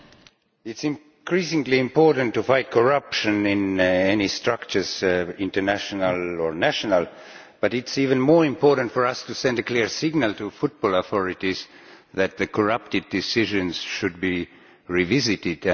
Mr President, it is increasingly important to fight corruption in any structures international or national but it is even more important for us to send a clear signal to the football authorities that the corrupted decisions should be revisited.